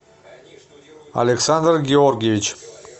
александр георгиевич